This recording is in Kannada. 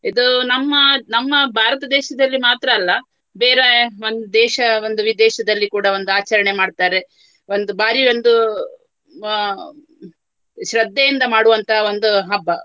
ಇದು ನಮ್ಮ ನಮ್ಮ ಭಾರತ ದೇಶದಲ್ಲಿ ಮಾತ್ರ ಅಲ್ಲ. ಬೇರೆ ಒಂದು ದೇಶ ಒಂದು ವಿದೇಶದಲ್ಲಿ ಕೂಡ ಒಂದು ಆಚರಣೆ ಮಾಡ್ತಾರೆ. ಒಂದು ಭಾರಿ ಒಂದು ಅಹ್ ಶ್ರದ್ಧೆಯಿಂದ ಮಾಡುವಂತಹ ಒಂದು ಹಬ್ಬ.